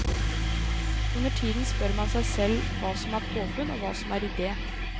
Undertiden spør man seg selv hva som er påfunn og hva som er idé.